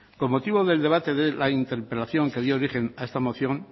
con motivo del debate de la interpelación que dio origen a esta moción